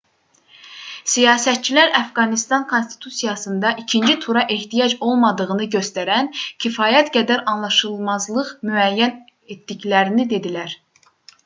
siyasətçilər əfqanıstan konstitusiyasında ikinci tura ehtiyac olmadığını göstərən kifayət qədər anlaşılmazlıq müəyyən etdiklərini dedilər